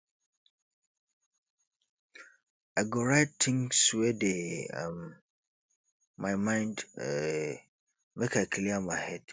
i go write tins wey dey um my mind um make i clear my head